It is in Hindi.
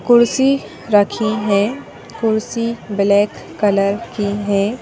कुर्सी रखी है कुर्सी ब्लैक कलर की है।